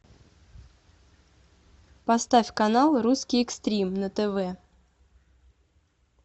поставь канал русский экстрим на тв